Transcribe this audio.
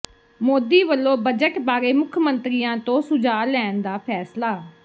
ਮੋਦੀ ਵੱਲੋਂ ਬਜਟ ਬਾਰੇ ਮੁੱਖ ਮੰਤਰੀਆਂ ਤੋਂ ਸੁਝਾਅ ਲੈਣ ਦਾ ਫ਼ੈਸਲਾ